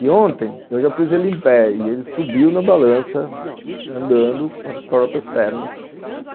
E ontem, eu já pus ele em pé e ele subiu na balança, andando com as próprias pernas.